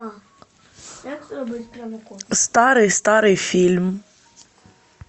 старый старый фильм